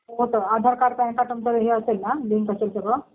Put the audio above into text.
हो जर Aadhaar card, PAN card तुमचं हे असेल ना, लिंक असेल सगळं